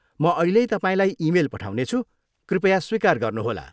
म अहिल्यै तपाईँलाई इमेल पठाउनेछु। कृपया स्वीकार गर्नुहोला।